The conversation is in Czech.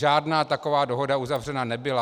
Žádná taková dohoda uzavřena nebyla.